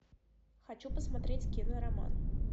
хочу посмотреть кинороман